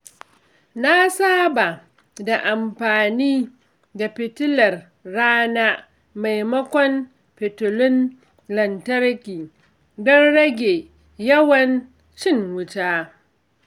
Na saba da amfani da fitilar rana maimakon fitilun lantarki domin rage yawan cin wuta.